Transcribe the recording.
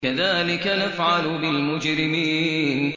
كَذَٰلِكَ نَفْعَلُ بِالْمُجْرِمِينَ